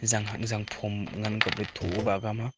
zang hak zang phom ngan ang kap le tho ba ka am a.